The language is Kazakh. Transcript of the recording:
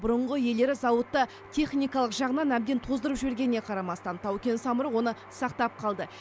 бұрынғы иелері зауытты техникалық жағынан әбден тоздырып жібергеніне қарамастан тау кен самұрық оны сақтап қалды